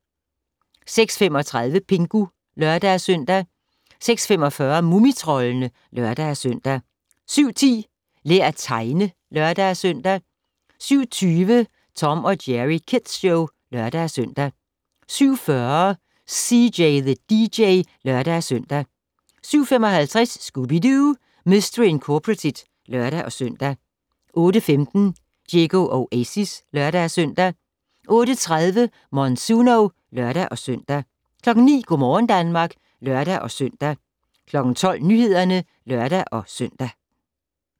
06:35: Pingu (lør-søn) 06:45: Mumitroldene (lør-søn) 07:10: Lær at tegne (lør-søn) 07:20: Tom & Jerry Kids Show (lør-søn) 07:40: CJ the DJ (lør-søn) 07:55: Scooby-Doo! Mistery Incorporated (lør-søn) 08:15: Diego Oasis (lør-søn) 08:30: Monsuno (lør-søn) 09:00: Go' morgen Danmark (lør-søn) 12:00: Nyhederne (lør-søn)